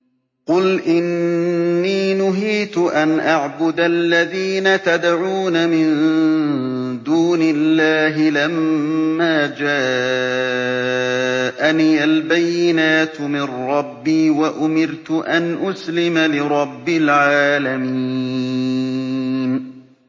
۞ قُلْ إِنِّي نُهِيتُ أَنْ أَعْبُدَ الَّذِينَ تَدْعُونَ مِن دُونِ اللَّهِ لَمَّا جَاءَنِيَ الْبَيِّنَاتُ مِن رَّبِّي وَأُمِرْتُ أَنْ أُسْلِمَ لِرَبِّ الْعَالَمِينَ